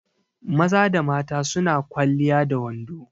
Maza da mata su na kwaliya da wando.